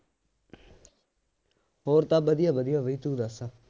ਹੋਰ ਤਾਂ ਵਧੀਆ ਵਧੀਆ ਬਈ ਤੂੰ ਦੱਸ